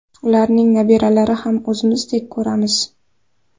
Ularning nabiralarini ham o‘zimnikidek ko‘ramiz.